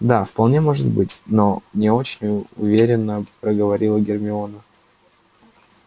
да вполне может быть но не очень у уверенно проговорила гермиона